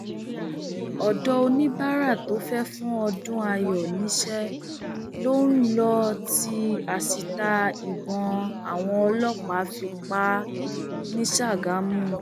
ọdọ oníbàárà tó fẹẹ fún ọdúnnayọ níṣẹ ló ń lò tí asítà ìbọn àwọn ọlọpàá fi pa á ní ṣàgámù